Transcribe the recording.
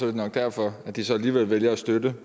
det nok derfor at de alligevel vælger at støtte